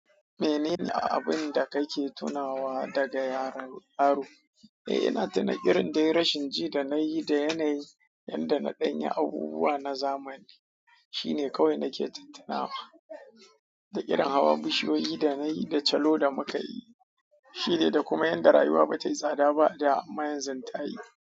Menene abun da kake tunawa daga yaron yaro? Eh ina tuna irin rashin ji da nayi da yanayi yadda na ɗanyi abubuwa na zamani. Shine kawai nake ta tuna, da irin hawa bishiyoyi da chalo da muka yi. Shine, da kuma yanda rayuwa bata yi tsada ba, da amma yanzu ta yi.